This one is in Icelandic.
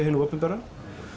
hinu opinbera